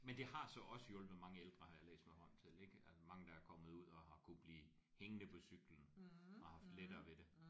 Men det har så også hjulpet mange ældre har jeg læst mig frem til ik at mange der er kommet ud og har kunnet blive hængende på cyklen og haft lettere ved det